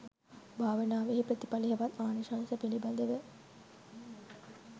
භාවනාවෙහි ප්‍රතිඵල හෙවත් ආනිශංස පිළිබඳව